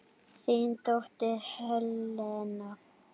Þín dóttir Helena.